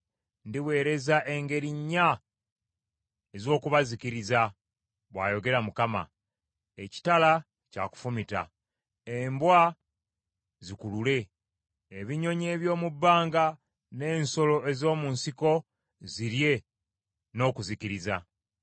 “Ndiweereza engeri nnya ez’okubazikiriza,” bw’ayogera Mukama . “Ekitala kya kufumita, embwa zikulule, ebinyonyi eby’omu bbanga n’ensolo ez’omu nsiko zirye n’okuzikiriza.